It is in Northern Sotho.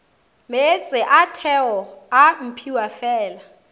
meetse a theo a mphiwafela